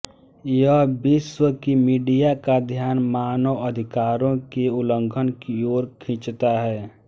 यह विश्व की मीडिया का ध्यान मानवाधिकारों के उल्लंघन की ओर खींचता है